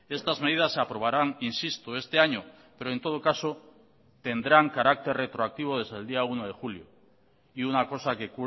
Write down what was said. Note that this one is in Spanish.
estas medidas se aprobarán insisto este año pero en todo caso tendrán carácter retroactivo desde el día uno de julio y una cosa que